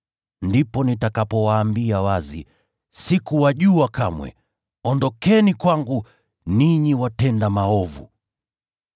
Ndipo nitakapowaambia wazi, ‘Sikuwajua kamwe. Ondokeni kwangu, ninyi watenda maovu!’